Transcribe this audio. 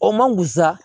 O man gusa